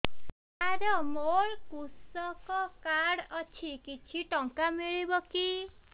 ସାର ମୋର୍ କୃଷକ କାର୍ଡ ଅଛି କିଛି ଟଙ୍କା ମିଳିବ କି